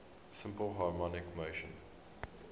simple harmonic motion